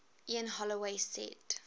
ian holloway said